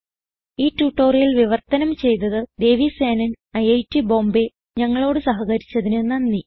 ഈ ട്യൂട്ടോറിയൽ വിവർത്തനം ചെയ്തത് ദേവി സേനൻ ഐറ്റ് ബോംബേ ഞങ്ങളോട് സഹകരിച്ചതിന് നന്ദി